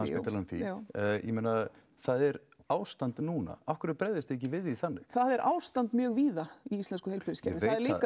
já ég meina það er ástand núna af hverju bregðist þið ekki við því þannig það er ástand mjög víða í íslensku heilbrigðiskerfi